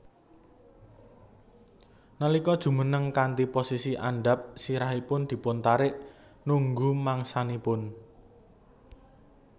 Nalika jumeneng kanthi posisi andhap sirahipun dipuntarik nunggu mangsanipun